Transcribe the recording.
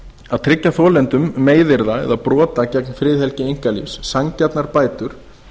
að tryggja þolendum meiðyrða að brota gegn friðhelgi einkalífs sanngjarnar bætur